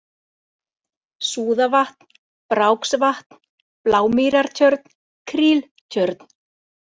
Súðavatn, Bráksvatn, Blámýrartjörn, Kríltjörn